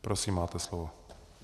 Prosím, máte slovo.